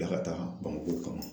Bila ka taa BAMAKO ka na.